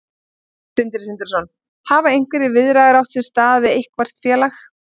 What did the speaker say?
Sindri Sindrason: Hafa einhverjar viðræður átt sér stað við eitthvert félag?